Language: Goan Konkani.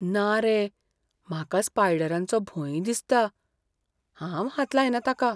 ना रे! म्हाका स्पायडरांचो भंय दिसता. हांव हात लायना ताका.